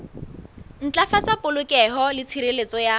ntlafatsa polokeho le tshireletso ya